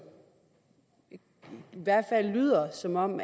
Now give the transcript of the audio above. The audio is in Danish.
i hvert fald lyder som om